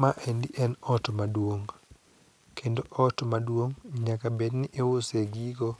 Maendi en ot maduong' kendo ot maduong' nyaka bedni iuse gigo